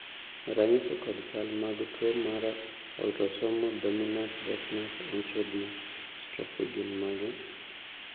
ranyisi kod chal mag tuo mar Autosomal dominant deafness onychodystrophy gin mage?